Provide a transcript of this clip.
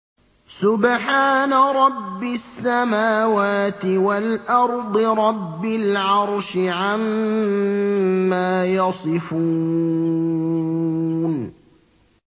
سُبْحَانَ رَبِّ السَّمَاوَاتِ وَالْأَرْضِ رَبِّ الْعَرْشِ عَمَّا يَصِفُونَ